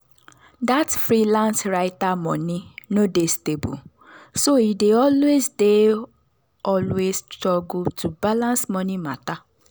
that freelance writer money no dey stable so e dey always dey always struggle to balance money matter.